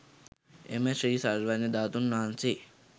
එම ශ්‍රී සර්වඥ ධාතුන් වහන්සේ